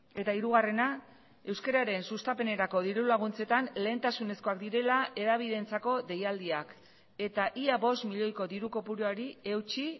eta hirugarrena euskararen sustapenerako diru laguntzetan lehentasunezkoak direla hedabideentzako deialdiak eta ia bost milioiko diru kopuruari eutsi